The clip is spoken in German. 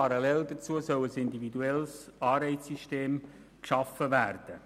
Parallel dazu soll ein individuelles Anreizsystem geschaffen werden.